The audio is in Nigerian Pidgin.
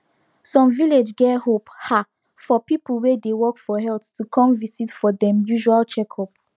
some village get hope ah for people wey dey work for health to come visit for dem usual checkup